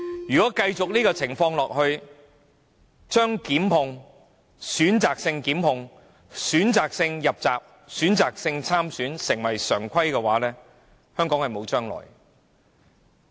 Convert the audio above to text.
如果這種情況繼續下去，令選擇性檢控、選擇性入閘、選擇性參選成為常規，香港便沒有未來。